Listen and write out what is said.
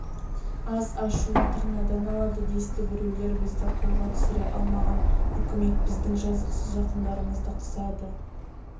аз ашуын тырнадан алады десті біреулер бізді қолға түсіре алмаған үкімет біздің жазықсыз жақындарымызды қысады